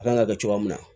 A kan ka kɛ cogoya min na